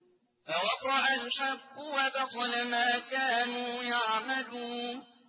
فَوَقَعَ الْحَقُّ وَبَطَلَ مَا كَانُوا يَعْمَلُونَ